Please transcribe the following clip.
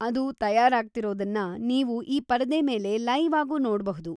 ಅದು ತಯಾರಾಗ್ತಾಯಿರೋದನ್ನ ನೀವು ಈ ಪರದೆ ಮೇಲೆ ಲೈವ್‌ ಆಗೂ ನೋಡ್ಬಹುದು.